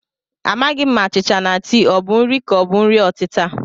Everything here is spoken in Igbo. Amaghị m ma achịcha na tii ọ bụ nri ka ọ bụ nri ọtịta